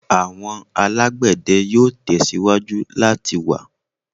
Awọn alagbẹdẹ yoo tẹsiwaju lati wa